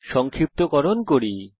সংক্ষিপ্তকরণ করি